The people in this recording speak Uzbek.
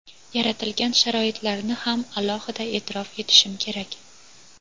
yaratilgan sharoitlarni ham alohida e’tirof etishim kerak.